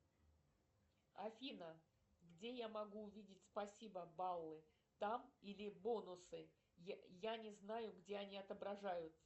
афина где я могу увидеть спасибо баллы там или бонусы я не знаю где они отображаются